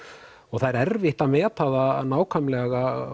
það er erfitt að meta það nákvæmlega